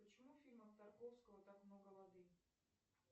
почему в фильмах тарковского так много воды